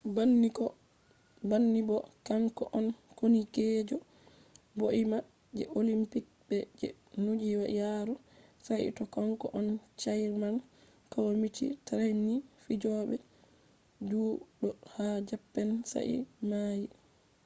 banni bo kanko on koonikeejo ɓoima je olimpik be je duniyaaru saito kanko on chairman kwamiti trainin fijooɓe judo ha japan sa'i o maayi